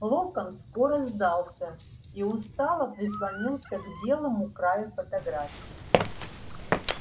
локонс скоро сдался и устало прислонился к белому краю фотографии